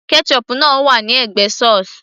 ketchup náà wà ní ẹ̀gbẹ́ sauce